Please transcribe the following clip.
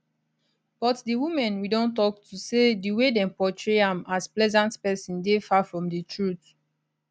but di women we don tok to say di way dem portray am as pleasant pesin dey far from di truth